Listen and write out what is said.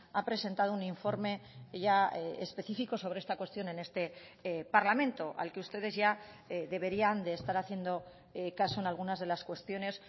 ha presentado un informe ya especifico sobre esta cuestión en este parlamento al que ustedes ya deberían de estar haciendo caso en algunas de las cuestiones